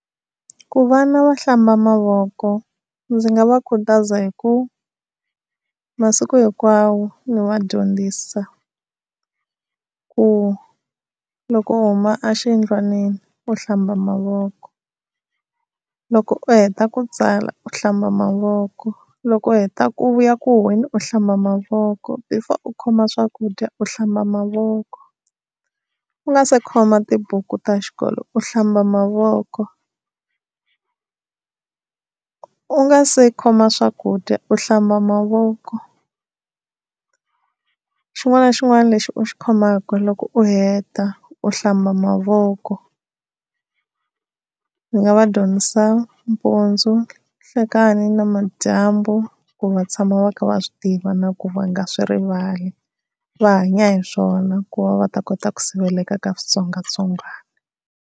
Ku vana va hlamba mavoko ndzi nga va khutaza hi ku masiku hinkwawo ndzi va dyondzisa, ku loko u huma exiyindlwanini u hlamba mavoko. Loko u heta ku tsala u hlamba mavoko, loko u heta ku vuya ku huhweni u hlamba mavoko, before u khoma swakudya u hlamba mavoko, u nga se khoma tibuku ta xikolo u hlamba mavoko, u nga se khoma swakudya u hlamba mavoko. Xin'wana na xin'wana lexi u xi khomaka loko u heta u hlamba mavoko, ndzi nga va dyondzisa mpundzu, nhlikani na madyambu ku va tshama va kha va swi tiva, na ku va nga swi rivali va hanya hi swona ku va va ta kota ku siveleka ka switsongwatsongwana.